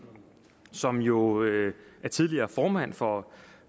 som jo er tidligere formand for